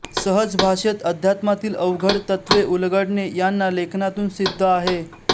सहज भाषेत अध्यात्मातील अवघड तत्वे उलगडणे यांना लेखनातून सिद्ध आहे